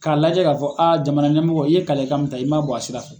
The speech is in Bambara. K'a lajɛ k'a fɔ a jamana ɲɛmɔgɔ i ye kalekan min ta i man bɔ a sira fɛ.